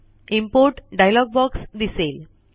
import dialog box दिसेल